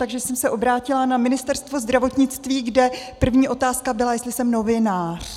Takže jsem se obrátila na Ministerstvo zdravotnictví, kde první otázka byla, jestli jsem novinář.